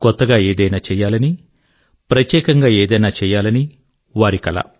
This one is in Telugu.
కొత్తగా ఏదైనా చేయాలని ప్రత్యేకంగా ఏదైనా చేయాలని వారి కల